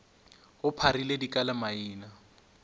go pharile dika le maina